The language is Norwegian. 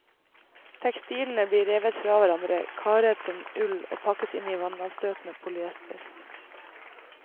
Tekstilene blir revet fra hverandre, kardet som ull og pakket i vannavstøtende polyester.